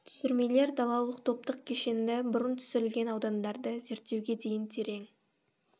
түсірмелер далалық топтық кешенді бұрын түсірілген аудандарды зерттеуге дейін терең